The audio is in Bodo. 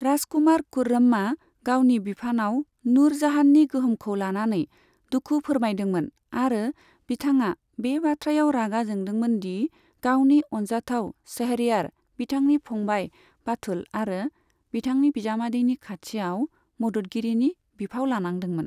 राजकुमार खुर्रमआ गावनि बिफानाव नूर जाहाननि गोहोमखौ लानानै दुखु फोरमायदोंमोन आरो बिथाङा बे बाथ्रायाव रागा जोंदोंमोन दि गावनि अनजाथाव शहरयार, बिथांनि फंबाय बाथुल आरो बिथांनि बिजामादैनि खाथियाव मददगिरिनि बिफाव लानांदोंमोन।